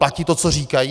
Platí to, co říkají?